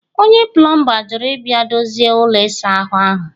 onye plọmba jụrụ ịbịa dozie ụlọ ịsa ahụ